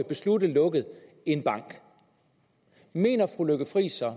beslutte at lukke en bank mener fru lykke friis og